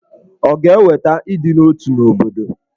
Ọ̀ ga-eweta ịdị n'otu n'obodo?